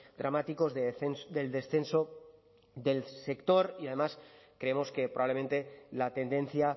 dramáticos del descenso del sector y además creemos que probablemente la tendencia